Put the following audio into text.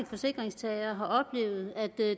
forsikringstagere har oplevet at